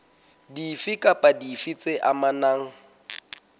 dife kapa dife tse amanang